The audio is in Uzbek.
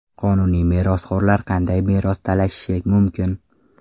Qonuniy merosxo‘rlar qanday meros talashishi mumkin?